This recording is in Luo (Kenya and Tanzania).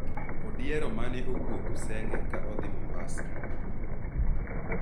Odiero mane owuok Usenge ka odhi Mombasa